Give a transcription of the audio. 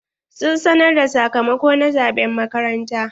Sun sanar da sakamako na zaɓen makaranta?